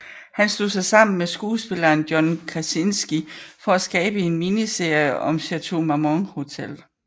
Han slog sig sammen med skuespilleren John Krasinski for at skabe en miniserie om Chateau Marmont Hotel